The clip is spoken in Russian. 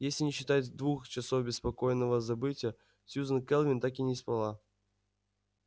если не считать двух часов беспокойного забытья сьюзен кэлвин так и не спала